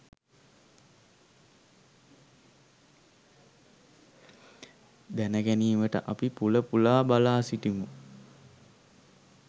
දැනගැනීමට අපි පුල පුලා බලා සිටිමු.